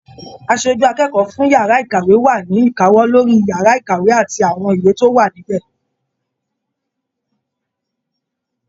Aṣojú akẹ́kọ̀ọ́ fún yàrá ìkàwé wa ni ìkáwọ́ lórí yàrá ìkàwé àti àwọn ìwé tó wà níbẹ.